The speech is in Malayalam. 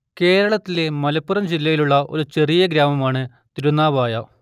കേരളത്തിലെ മലപ്പുറം ജില്ലയിലുള്ള ഒരു ചെറിയ ഗ്രാമമാണ് തിരുനാവായ